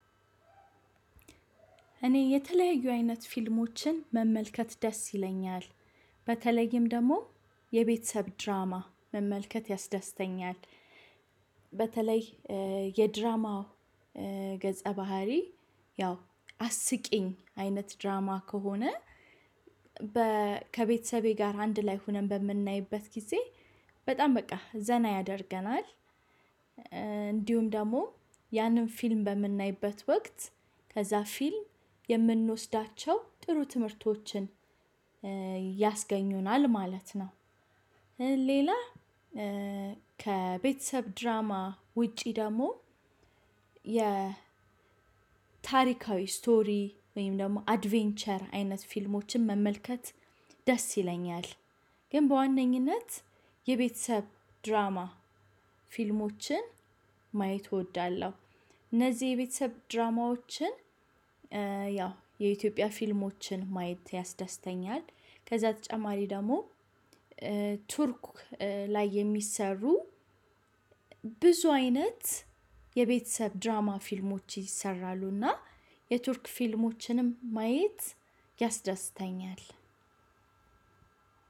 እኔ የተለያዩ አይነት ፊልሞችን መመልከት ደስ ይለኛል በተለይም ደግሞ የቤተሰብ ድራማ መመልከት ያስዳስተኛል። በተለይ የድራማ ገጸ ባህሪ ያው አስቂኝ አይነት ድራማ ከሆነ። ከቤተሰቤ ጋር አንድ ላይ ሆነን በምናይበት ጊዜ በጣም በቃ ዘና ያደርገናል። እንዲሁም ደግሞ ያንን ፊልም በምናይበት ወቅት ከዛ ፊልም የምንወስዳቸው ጥሩ ትምህርቶችን ያስገኙናል ማለት ነው። ሌላ ከቤተሰብ ድራማ ውጪ ደግሞ የ ታሪካዊ ስቶሪ ወይም ደግሞ አድቬንቸር አይነት ፊልሞችን መመልከት ደስ ይለኛል። ግን በዋነኝነት የቤተሰብ ድራማ ፊልሞችን ማየት እወዳለሁ። እነዚህ የቤተሰብ ድራማዎችን ያው የኢትዮጵያ ፊልሞችን ማየት ያስደስተኛል። ከዛ ተጨማሪ ደግሞ ቱርክ ላይ የሚሰሩ ብዙ አይነት የቤተሰብ ድራማ ፊልሞች ይሰራሉና የቱርክ ፊልሞችንም ማየት።